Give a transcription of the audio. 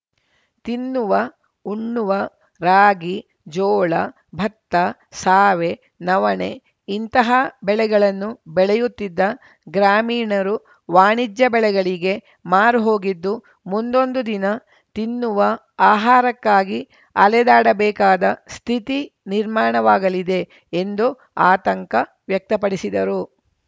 ತಿನ್ನುವಉಣ್ಣುವ ರಾಗಿ ಜೋಳ ಭತ್ತ ಸಾವೆ ನವಣೆ ಇಂತಹ ಬೆಳೆಗಳನ್ನು ಬೆಳೆಯುತ್ತಿದ್ದ ಗ್ರಾಮೀಣರು ವಾಣಿಜ್ಯ ಬೆಳೆಗಳಿಗೆ ಮಾರುಹೋಗಿದ್ದು ಮುಂದೊಂದು ದಿನ ತಿನ್ನುವ ಆಹಾರಕ್ಕಾಗಿ ಅಲೆದಾಡಬೇಕಾದ ಸ್ಥಿತಿ ನಿರ್ಮಾಣವಾಗಲಿದೆ ಎಂದು ಆತಂಕ ವ್ಯಕ್ತ ಪಡಿಸಿದರು